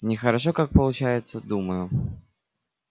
нехорошо как получается думаю